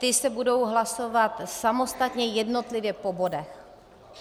Ty se budou hlasovat samostatně jednotlivě po bodech.